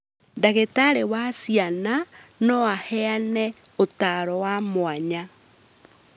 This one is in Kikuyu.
Ndagĩtarĩ wa ciana no aheane ũtaaro wa mwanya